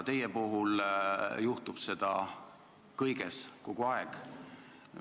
Teie puhul juhtub seda kõiges ja kogu aeg.